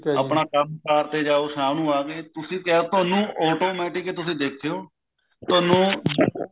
ਆਪਣਾ ਕੰਮਕਾਰ ਤੇ ਗਏ ਅਰ ਸ਼ਾਮ ਨੂੰ ਆ ਗਏ ਤੁਹਾਨੂੰ automatic ਤੁਸੀਂ ਦੇਖਿਓ ਤੁਹਨੂੰ